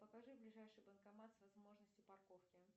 покажи ближайший банкомат с возможностью парковки